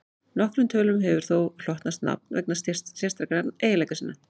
nokkrum tölum hefur þó hlotnast nafn vegna sérstakra eiginleika sinna